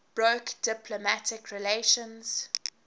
broke diplomatic relations